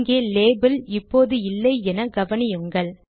இங்கே லேபில் இப்போது இல்லை என கவனியுங்கள்